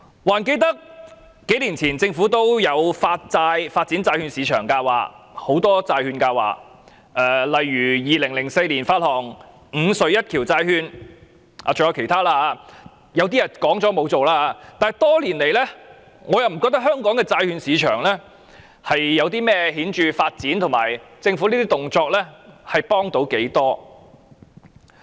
還記得數年前，政府也曾經有發展債券市場的計劃，提出很多債券計劃，例如在2004年發行"五隧一橋債券"等，有些說過卻沒有推行，但多年來我不覺得香港債券市場有何顯著發展，也看不到政府這些動作有多大幫助。